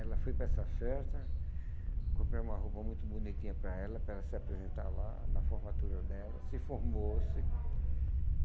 Ela foi para essa festa, compramos uma roupa muito bonitinha para ela, para ela se apresentar lá na formatura dela, se formou-se.